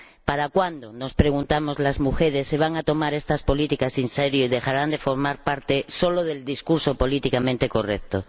¿Para cuándo —nos preguntamos las mujeres— se van a tomar estas políticas en serio y dejarán de formar parte solo del discurso políticamente correcto?